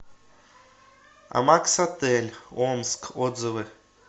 амакс отель омск отзывы